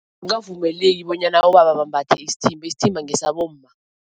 bonyana abobaba bambathe isithimba, isithimba ngesabomma.